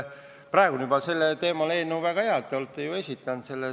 Praegu on juba sellel teemal eelnõu olemas, väga hea, te olete ju esitanud selle.